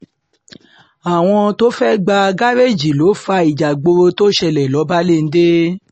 àwọn tó fẹ́ẹ́ gbà gàrẹ́ẹ̀jì ló fa ìjààgboro tó ṣẹlẹ̀ lọ́balẹ́ńdẹ́